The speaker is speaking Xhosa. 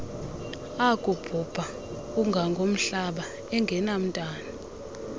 akubhubha ungangomhlaba engenamntwana